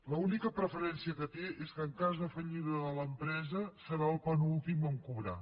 l’única preferència que té és que en cas de fallida de l’empresa serà el penúltim a cobrar